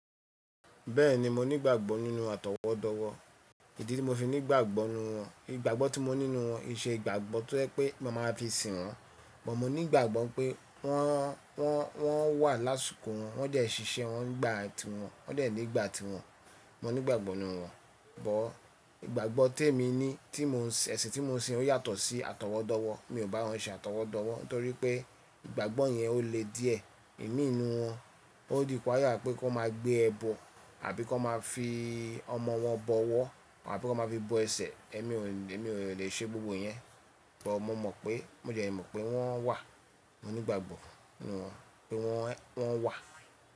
Bẹ́ẹ̀ni mo nígbàgbọ́ nínú àtọwọ́dọ́wọ́, ìdí tí mo fi nígbàgbọ́ nú wọn, ìgbàgbọ́ tí mo ní nú wọn i se ìgbàgbọ́ tó ẹ pé mo máa maa fi sìn wọ́n, bọ̀ mo nígbàgbọ́ pé wọ́n, wọ́n, wọ́n wà lásùkò wọn, wọ́n dẹ́ ṣiṣẹ́ wọn nígbà tí wọn, wọ́n dẹ́ nígbà tí wọn, mo nígbàgbọ́ nú wọn. Bọ̀ ìgbàgbọ́ tèmi ní, tí mo n sin, ẹsin tí mo sin o yàtọ̀ sí àtọwọ́dọ́wọ́. Mi ò bá wọn ṣe àtọwọ́dọ́wọ́ n torí pé ìgbàgbọ́ yẹn o le díẹ̀. Èmi nú wọn, o dípa yà pé kí wọ́n máa gbé ẹbọ àbí kí wọ́n máa fi ọmọ wọn bọwọ́ àbí kí wọ́n máa fi bọ ẹsẹ̀. Èmi o, èmi ò le ṣe gbogbo yẹn, bọ̀ mo mọ̀ pé, mo dẹ́ mọ̀ pé wọ́n wà. Mo nígbàgbọ́ nú wọn pé wọn, wọn wà.